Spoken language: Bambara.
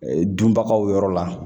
Ee dunbagaw yɔrɔ la